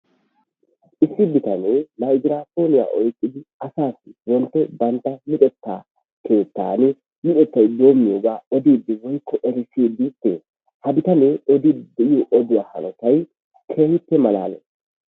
Issi bitanee maygiraappooniya oyqqidi asaassi wontto bantta luxetta keettan luxettay doommiyogaa odiiddi woykko erissiidi dees. Ha bitanee odiiddi de'iyo oduwa hanotay keehippe malaalees.